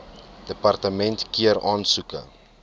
departement keur aansoeke